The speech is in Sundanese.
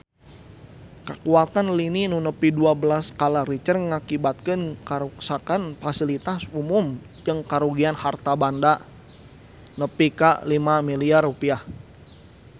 Kakuatan lini nu nepi dua belas skala Richter ngakibatkeun karuksakan pasilitas umum jeung karugian harta banda nepi ka 5 miliar rupiah